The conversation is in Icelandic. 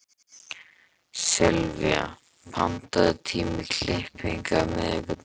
Sylvía, pantaðu tíma í klippingu á miðvikudaginn.